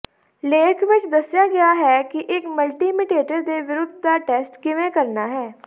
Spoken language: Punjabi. ਲੇਖ ਵਿਚ ਦੱਸਿਆ ਗਿਆ ਹੈ ਕਿ ਇਕ ਮਲਟੀਮੀਟੇਟਰ ਦੇ ਵਿਰੋਧ ਦਾ ਟੈਸਟ ਕਿਵੇਂ ਕਰਨਾ ਹੈ